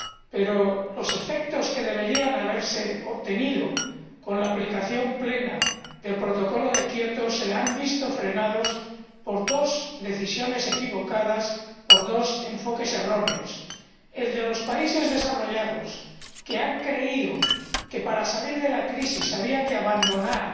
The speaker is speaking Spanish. Pero los efectos que deberían haberse obtenido con la aplicación plena del Protocolo de Kioto se han visto frenados por dos decisiones equivocadas, por dos enfoques erróneos el de los países desarrollados, que han creído que para salir de la crisis había que abandonar